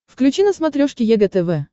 включи на смотрешке егэ тв